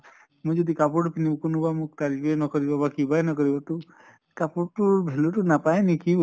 মই যদি কাপোৰ পিন্ধো কোনোবা মোক তাৰ নুসুধিব বা কিবাই নকৰিব তো কাপোৰ তোৰ value তো নাপায় নিকি